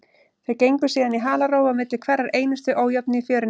Þeir gengu síðan í halarófu á milli hverrar einustu ójöfnu í fjörunni.